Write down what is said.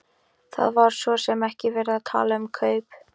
Það var svo sem ekki verið að tala um kaup.